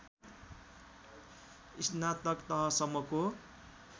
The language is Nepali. स्नातक तहसम्मको